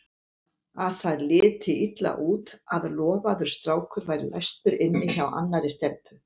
Að það liti illa út að lofaður strákur væri læstur inni hjá annarri stelpu.